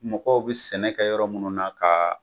Mɔgɔw bi sɛnɛ kɛ yɔrɔ munnu na kaa